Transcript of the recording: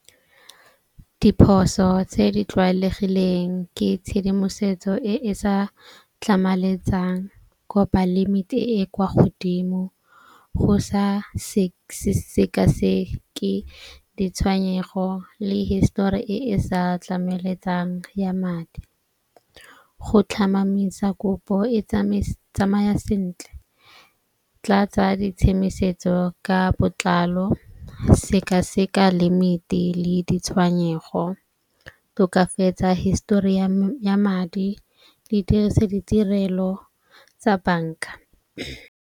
Diphoso tse di tlwaelegileng ke tshedimosetso e e sa tlhamaletsang ko balemi e e kwa godimo, go sa sekaseke ditshwenyego le histori e e sa tlameletsang ya madi, go tlhamamisa kopo e tsamaya sentle, tlatsa ditshemisetso ka botlalo, sekaseka limit-i le ditshwanyego, tokafatsa histori ya ya madi di dirise ditirelo tsa banka.